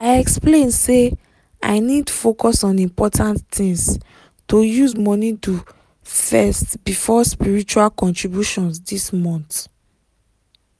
i explain say i need focus on important things to use money do first before spiritual contributions this month.